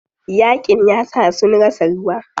Yaƙin yasa sun rasa ruwa.